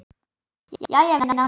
Jæja vinan.